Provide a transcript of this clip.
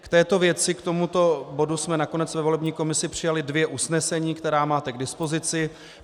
K této věci, k tomuto bodu, jsme nakonec ve volební komisi přijali dvě usnesení, která máte k dispozici.